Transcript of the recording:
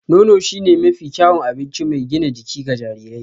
Nono shine mafi kyawun abinci mai gina jiki ga jarirai